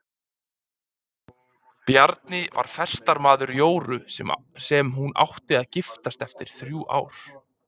Bjarni var festarmaður Jóru sem hún átti að giftast eftir þrjú ár.